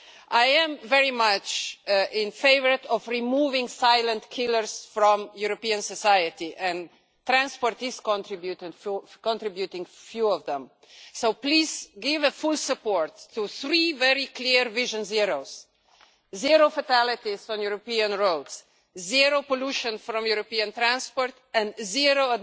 I am very much in favour of removing silent killers from European society, and transport is contributing a few of them, so please give your full support to three very clear vision zeros. Zero fatalities on European roads, zero pollution from European transport and zero